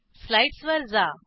slides वर जा